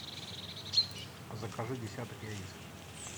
закажи десяток яиц